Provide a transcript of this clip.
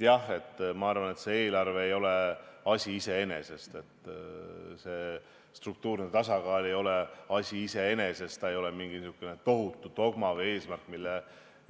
Jah, ma arvan, et see eelarve ei ole asi iseeneses, struktuurne tasakaal ei ole asi iseeneses, ta ei ole mingi selline tohutu dogma või eesmärk, mille